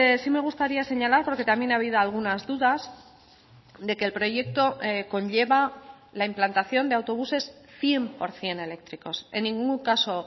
sí me gustaría señalar porque también ha habido algunas dudas de que el proyecto conlleva la implantación de autobuses cien por ciento eléctricos en ningún caso